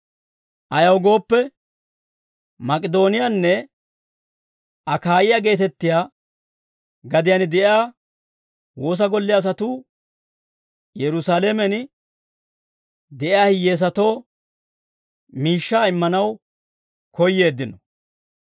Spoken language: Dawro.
Ayaw gooppe, Mak'idooniyaanne Akaayiyaa geetettiyaa gadiyaan de'iyaa woosa golle asatuu Yerusaalamen de'iyaa hiyyeesatoo miishshaa immanaw koyyeeddino.